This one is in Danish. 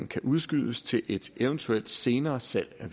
kan udskydes til et eventuelt senere salg af